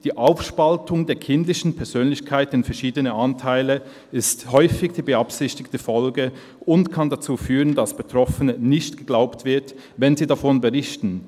Die Aufspaltung der kindlichen Persönlichkeit in verschiedene Anteile ist häufig die (beabsichtigte) Folge und kann dazu führen, dass Betroffenen nicht geglaubt wird, wenn sie davon berichten.